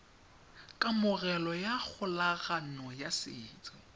kamogelo ya kgolagano ya setso